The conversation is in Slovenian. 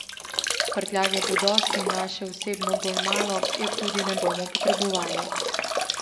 Prtljage bo dosti, naše osebno bolj malo, je tudi ne bomo potrebovali.